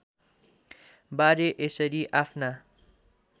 बारे यसरी आफ्ना